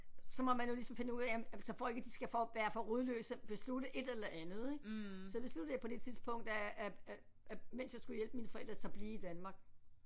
Så må man jo ligesom finde ud af jamen så for ikke at de skal for være for rodløse beslutte et eller andet ik så besluttede jeg på det tidspunkt at at at at mens jeg skulle hjælpe mine forældre så blive i Danmark